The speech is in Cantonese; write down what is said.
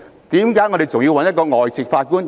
為何我們還要找外籍法官呢？